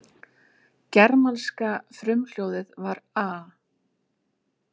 Germanska frumhljóðið var-a-,.